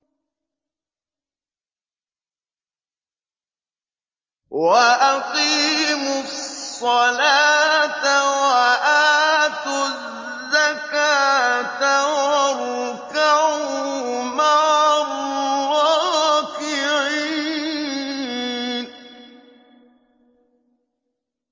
وَأَقِيمُوا الصَّلَاةَ وَآتُوا الزَّكَاةَ وَارْكَعُوا مَعَ الرَّاكِعِينَ